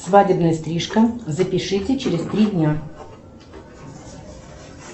свадебная стрижка запишите через три дня